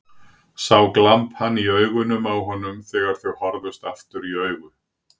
Sá glampann í augunum á honum þegar þau horfðust aftur í augu.